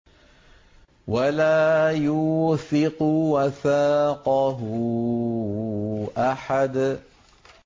وَلَا يُوثِقُ وَثَاقَهُ أَحَدٌ